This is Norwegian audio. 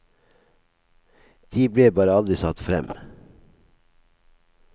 De ble bare aldri satt frem.